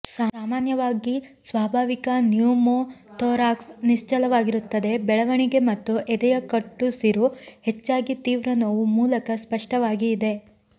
ಸಾಮಾನ್ಯವಾಗಿ ಸ್ವಾಭಾವಿಕ ನ್ಯೂಮೊಥೋರಾಕ್ಸ್ ನಿಶ್ಚಲವಾಗಿರುತ್ತದೆ ಬೆಳವಣಿಗೆ ಮತ್ತು ಎದೆಯ ಕಟ್ಟುಸಿರು ಹೆಚ್ಚಾಗಿ ತೀವ್ರ ನೋವು ಮೂಲಕ ಸ್ಪಷ್ಟವಾಗಿ ಇದೆ